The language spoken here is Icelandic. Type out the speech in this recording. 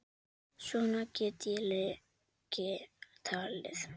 Svona get ég lengi talið.